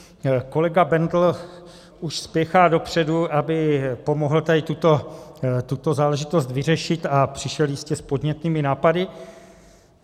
Kolega Bendl už spěchá dopředu, aby pomohl tady tuto záležitost vyřešit, a přišel jistě s podnětnými nápady.